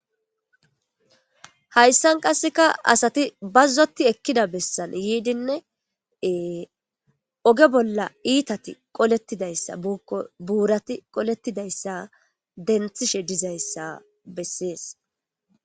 Hayssan qasseka asati bazzoti ekkida bessan yiidinneee oge bolla iitati qolettidayssa obuurati qolettidayssa denthishe dizayssa bessees.